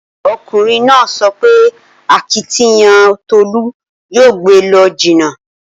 Okunrin naa so pe akitiyan Tolu yoo gbe e lo jinna.